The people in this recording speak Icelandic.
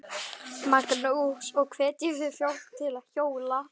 Magnús: Og hvetjið þið fólk til að hjóla?